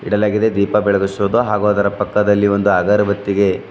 ಕೆಳಗಿದೆ ದೀಪ ಬೆಳಗಿಸುವುದು ಹಾಗೂ ಅದರ ಪಕ್ಕದಲ್ಲಿ ಒಂದು ಅಗರಬತ್ತಿಗೆ--